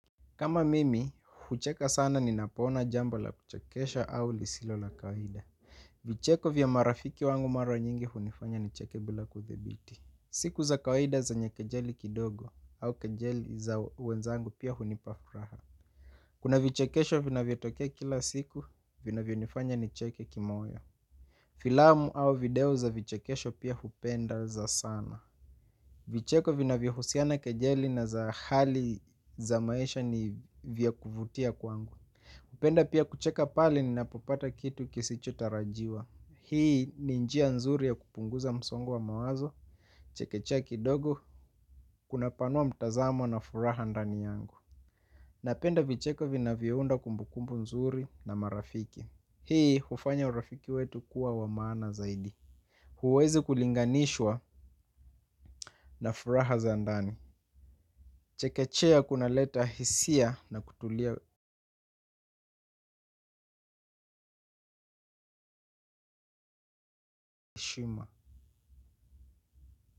Kama mimi, hucheka sana ninapoona jambo la kuchekesha au jambo lisilo la kawaida. Vicheko vya marafiki wangu mara nyingi hunifanya nicheke bila kuthibiti. Siku za kawaida zenye kejeli kidogo au kejeli za wenzangu pia hunipa furaha. Kuna vichekesho vinavyotokea kila siku, vinavyonifanya nicheke kimoyo. Filamu au video za vichekesho pia hupenda za sana. Vicheko vinavyohusiana kejeli na za hali za maisha ni vya kuvutia kwangu. Hupenda pia kucheka pale ninapopata kitu kisichotarajiwa. Hii ni njia nzuri ya kupunguza msongo wa mawazo. Chekechea kidogo kunapanua mtazamo na furaha ndani yangu. Napenda vicheko vinavyounda kumbukumbu nzuri na marafiki. Hii hufanya urafiki wetu kuwa wa maana zaidi. Huwezi kulinganishwa na furaha za ndani. Kuchekechea kunaleta hisia na kutulia shima.